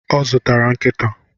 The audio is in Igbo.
Ọ zụtara nkita